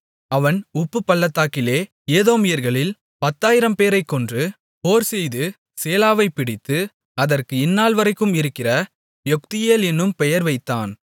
அவன் உப்புப்பள்ளத்தாக்கிலே ஏதோமியர்களில் பத்தாயிரம்பேரைக் கொன்று போர்செய்து சேலாவைப் பிடித்து அதற்கு இந்நாள்வரைக்கும் இருக்கிற யொக்தியேல் என்னும் பெயர் வைத்தான்